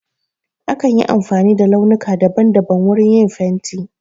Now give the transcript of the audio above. Akan yi amfani da launuka daban daban wurin yin fenti.